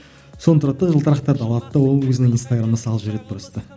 соны тұрады да жылтырақтарды алады да ол өзінің инстаграмына салып жібереді просто